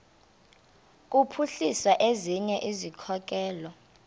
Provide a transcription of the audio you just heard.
kuphuhlisa ezinye izikhokelo